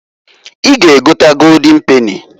I ga egota Goldin peni.